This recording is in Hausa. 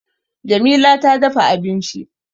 Jamila ta dafa abinci